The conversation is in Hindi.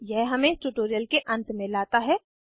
यह हमें इस ट्यूटोरियल के अंत में लाता है